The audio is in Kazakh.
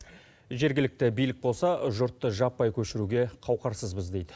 жергілікті билік болса жұртты жаппай көшіруге қауқарсызбыз дейді